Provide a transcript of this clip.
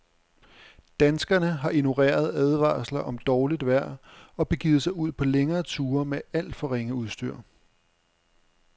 Danskerne har ignoreret advarsler om dårligt vejr og begivet sig ud på længere ture med alt for ringe udstyr.